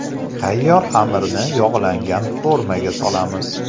Tayyor xamirni yog‘langan formaga solamiz.